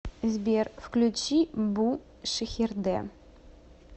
сбер включи бу шихерде